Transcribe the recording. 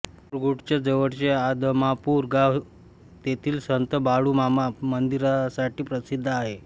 मुरगूडच्या जवळचे आदमापूर गाव तेथील संत बाळूमामा मंदिरासाठी प्रसिद्ध आहे